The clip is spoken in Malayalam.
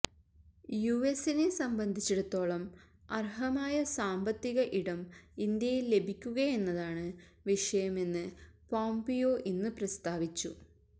യുഎസ്സിനെ സംബന്ധിച്ചിടത്തോളം അർഹമായ സാമ്പത്തിക ഇടം ഇന്ത്യയിൽ ലഭിക്കുകയെന്നതാണ് വിഷയമെന്ന് പോംപിയോ ഇന്ന് പ്രസ്താവിച്ചു